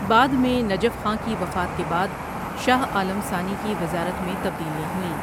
بعد میں نجف خاں کی وفات کے بعد شاہ عالم ثانی کی وزارت میں تبدیلیاں ہوئیں ۔